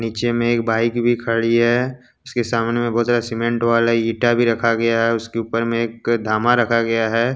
नीचे में एक बाइक भी खड़ी है उसके सामने में बहुत ज्यादा सीमेंट वाला ईटा भी रखा गया है उसके ऊपर में एक धामा रखा गया है।